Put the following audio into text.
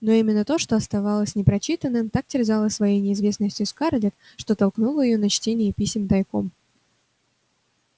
но именно то что оставалось непрочитанным так терзало своей неизвестностью скарлетт что толкнуло её на чтение писем тайком